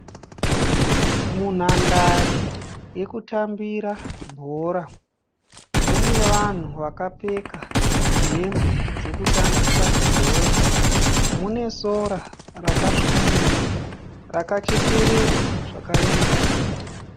Mhundare yekutambira bhora. Mune vanhu vakapfeka hembe dzokutambisa bhora. Mune sora rakasvibira, rakachekererwa zvakaenzana.